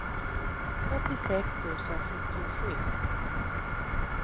åttiosex tusen sjuttiosju